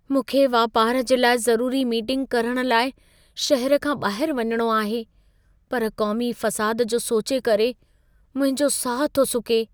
मूंखे वापार जे लाइ ज़रूरी मीटिंग करणु लाइ शहर खां ॿाहिरि वञिणो आहे, पर क़ौमी फ़साद जो सोचे करे मुंहिंजो साहु थो सुके।